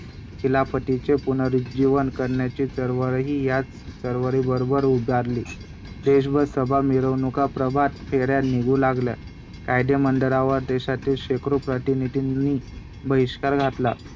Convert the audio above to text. आणि मग नंतर दुसरा अजून एक पैलू बघायला गेलो तर येतो ते म्हणजे ज्योतिबा फुले आणि महात्मा अ महात्मा ज्योतिबा फुले आणि सावित्रीबाई फुले.